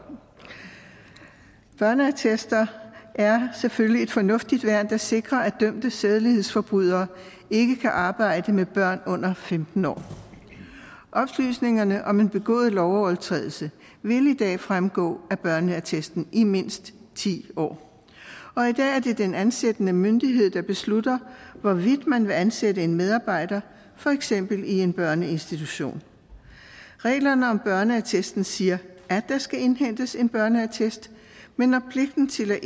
børneattester er selvfølgelig et fornuftigt værn der sikrer at dømte sædelighedsforbrydere ikke kan arbejde med børn under femten år oplysningerne om en begået lovovertrædelse vil i dag fremgå af børneattesten i mindst ti år og i dag er det den ansættende myndighed der beslutter hvorvidt man vil ansætte en medarbejder for eksempel i en børneinstitution reglerne om børneattesten siger at der skal indhentes en børneattest men når pligten til at